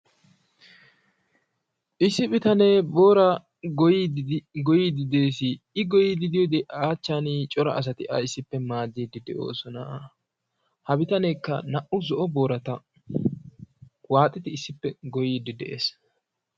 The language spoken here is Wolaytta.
issi bitanee booraa goyyiiddi de'es, i goyyiiddi diyoode a achchan cora asati a issippe maaddiiddi doosona. ha bitaneekka naa''u zo'o boorata waaxidi issippe goyyiiddi de'es.